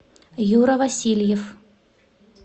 юра васильев